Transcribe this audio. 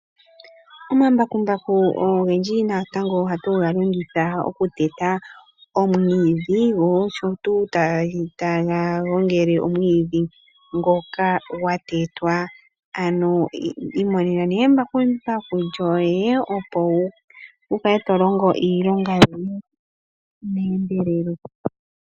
Omambakumbaku ogendji natango ohatu galongitha omwiidhi noshotuu, taga gongele omwiidhi ngoka gwa tetwa . Imonena embakumbaku lyoye opo wukale to longo iilonga yoye meendelelo.